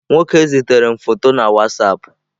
Nwoke zitere m foto na WhatsApp.